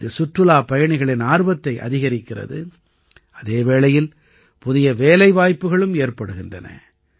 இது சுற்றுலாப்பயணிகளின் ஆர்வத்தை அதிகரிக்கிறது அதே வேளையில் புதிய வேலைவாய்ப்புகளும் ஏற்படுகின்றன